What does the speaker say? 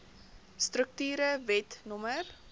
strukture wet no